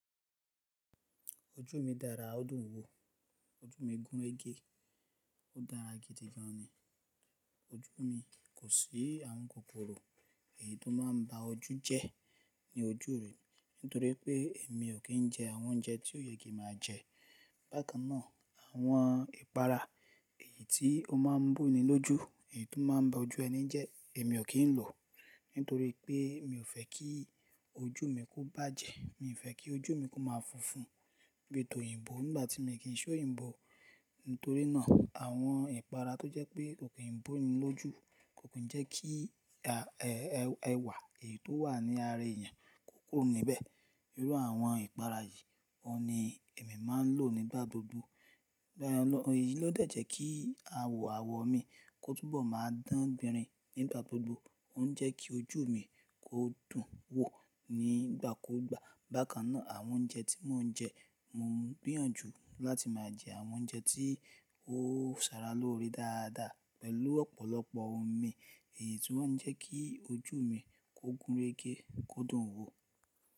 Ojú mi dára ó dùn wò, ojú mi gúnrégé, ó dára gidi gan ni. Ojú mi kò sí àwọn kokoro, èyí tó máa ń ba ojú jẹ́ ní ojú mi nítorí pé èmi ò kí ń jẹ àwọn oúnjẹ tí ó yẹ kí màá jẹ. Bákan náà, àwọn ìpara èyí tí ó máa ń boni lójú, èyí tó máa ń ba ojú ẹni jẹ́ èmi ò kí ń lo, nítorí pé mi ò fẹ́ kí ojú mi kó bàjẹ́, mi ò fẹ́ kí ojú mi kó máa funfun bi tóyìnbó nígbà tí mi o kì n ṣe òyìnbó. Nítorí náà àwọn ìpara tó jẹ́ pé kò kì í boni lójú, kò kì n jẹ́ kí ẹwà èyí tó wà ní ara èèyàn kó kúrò níbẹ̀. Irú àwọn ìpara yìí, oun ni èmi máa ń lò nígbà gbogbo. Eyí ló dẹ̀jẹ́ kí àwọ̀ mi kó túbọ̀ máa dán gbìnrin nígbà gbogbo, óun jẹ́ kí ojú mi kó dùn wò nígbà kù gbà. Bákan náà àwọn oúnjẹ tí mò ń jẹ, mo ń gbìyànjú láti máa jẹ àwọn oúnjẹ tí ó sara lóore dáadáa pẹ̀lú ọ̀pọ̀lọpọ̀ omi èyí tí wọ́n ń jẹ́ kí ojú mi kó gúnrégé, kó dùn wò.